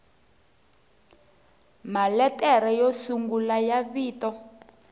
maletere yo sungula ya vito